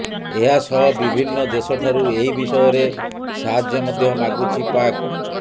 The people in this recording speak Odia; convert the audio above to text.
ଏହାସହ ବିଭିନ୍ନ ଦେଶ ଠାରୁ ଏହି ବିଷୟରେ ସାହାଯ୍ୟ ମଧ୍ୟ ମାଗୁଛି ପାକ୍